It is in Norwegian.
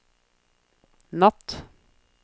natt